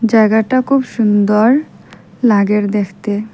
জায়গাটা খুব সুন্দর লাগের দেখতে।